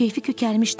Onun keyfi kökəlmişdi.